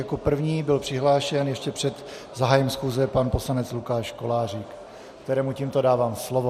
Jako první byl přihlášen ještě před zahájením schůze pan poslanec Lukáš Kolářík, kterému tímto dávám slovo.